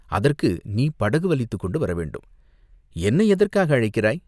அதற்கு நீ படகு வலித்துக் கொண்டு வரவேண்டும். என்னை எதற்காக அழைக்கிறாய்?